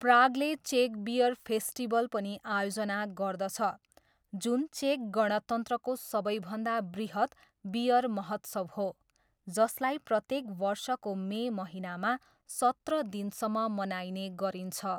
प्रागले चेक beer festival पनि आयोजना गर्दछ, जुन चेक गणतन्त्रको सबैभन्दा बृहत् बियर महोत्सव हो, जसलाई प्रत्येक वर्षको मे महिनामा सत्र दिनसम्म मनाइने गरिन्छ।